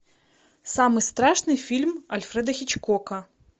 самый страшный фильм альфреда хичкока